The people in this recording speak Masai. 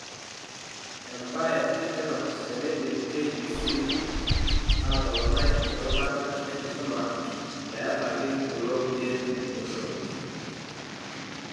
Embae etipat teneidim KEC ataoponai erubata enkisuma peebaiki kulo kulie oshon.